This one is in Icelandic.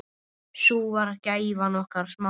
Sú var gæfan okkar Smára.